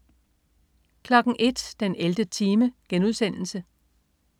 01.00 den 11. time*